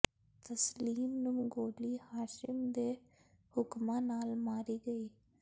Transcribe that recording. ਤਸਲੀਮ ਨੂੰ ਗੋਲੀ ਹਾਸ਼ਿਮ ਦੇ ਹੁਕਮਾਂ ਨਾਲ ਮਾਰੀ ਗਈ